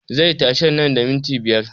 Zai tashi nan da minti biyar